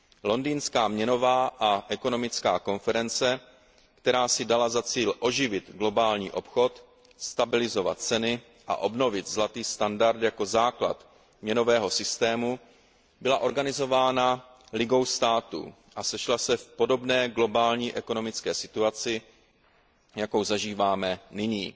Londýnská měnová a ekonomická konference, která si dala za cíl oživit globální obchod, stabilizovat ceny a obnovit zlatý standard jako základ měnového systému, byla organizována Ligou států a sešla se v podobné globální ekonomické situaci, jakou zažíváme nyní.